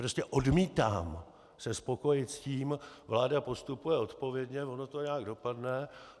Prostě odmítám se spokojit s tím: Vláda postupuje odpovědně, ono to nějak dopadne.